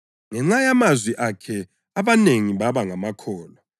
Ngenxa yamazwi akhe abanengi baba ngamakholwa.